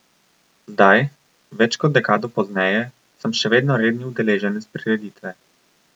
Zdaj, več kot dekado pozneje, sem še vedno redni udeleženec prireditve.